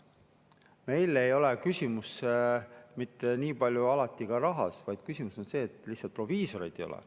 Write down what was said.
Meil ei ole küsimus alati mitte niipalju rahas, vaid selles, et proviisoreid lihtsalt ei ole.